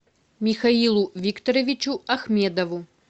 михаилу викторовичу ахмедову